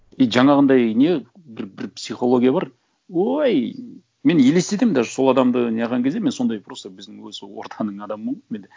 и жаңағындай не бір психология бар ой мен елестетемін даже сол адамды не қылған кезде мен сондай просто біздің осы ортаның адамымын ғой мен де